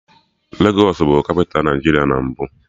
Legos bụ kapịta Nigeria na mbụ